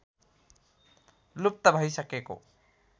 लुप्त भइसकेको